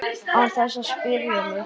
Án þess að spyrja mig?